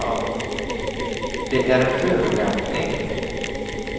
Det är en förolämpning!